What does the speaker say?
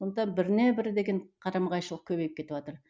сондықтан біріне бірі деген қарама қайшылық көбейіп кетіватыр